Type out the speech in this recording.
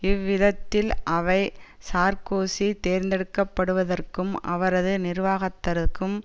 இவ்விதத்தில் அவை சார்க்கோசி தேர்ந்தெடுக்கப்படுவதற்கும் அவரது நிர்வாகத்தற்கும்